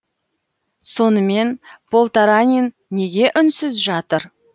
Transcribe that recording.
сонымен полтаранин неге үнсіз жатыр